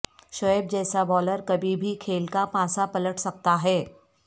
شعیب جیسا بولر کبھی بھی کھیل کا پانسا پلٹ سکتا ہے